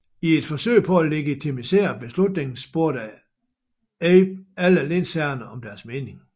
I et forsøg på at legitimisere beslutningen spurgte Abe alle lensherrerne om deres mening